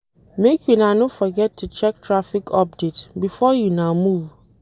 Make una no forget to check traffic update before una move.